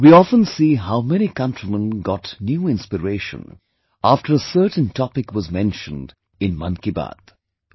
We often see how many countrymen got new inspiration after a certain topic was mentioned in 'Mann Ki Baat'